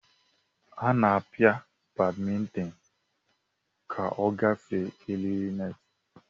Ana apia badmintin ka ogafee eriri net.